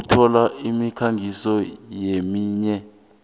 ukuthola isiphekiso neminye